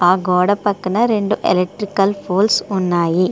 ఆ గోడ పక్కన రెండు ఎలెక్ట్రికల్ పోల్స్ ఉన్నాయి.